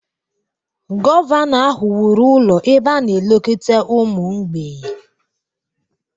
Gọvanọ ahụ wuru ụlọ ebe a na-elekọta ụmụ mgbei.